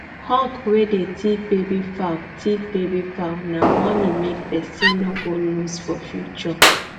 hawk wey dey thief baby fowl thief baby fowl nah warning make person no go loose for future